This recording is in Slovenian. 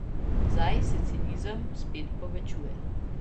Zdaj se cinizem spet povečuje.